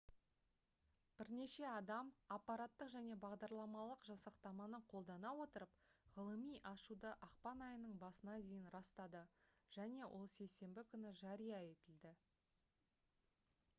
бірнеше адам апараттық және бағдарламалық жасақтаманы қолдана отырып ғылыми ашуды ақпан айының басына дейін растады және ол сейсенбі күні жария етілді